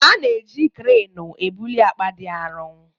A na-eji kreenu ebuli akpa dị arọ